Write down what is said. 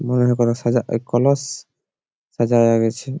মনে হয় কোন সাজা এ কলস সাজায়ে গেছে।